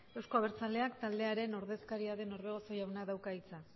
euzko abertzaleak taldearen ordezkaria den orbegozo jaunak dauka hitza